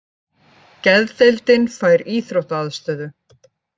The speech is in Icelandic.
Geðdeildin fær íþróttaaðstöðu